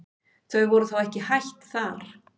Þau voru þó ekki hætt þar.